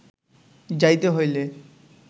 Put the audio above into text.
যাইতে হইলে